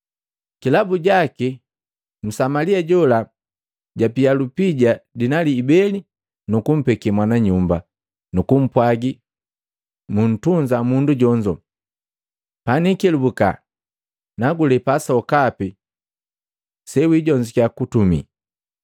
Kilabu jaki Msamalia jola japia lupija dinali ibele nukumpeke mwana nyumba, nukumpwagi, ‘Muntunza mundu jonzo, paniikelubuka nakulepa sokapi sewijonzukya kutumi.’ ”